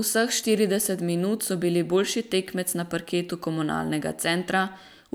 Vseh štirideset minut so bili boljši tekmec na parketu Komunalnega centra,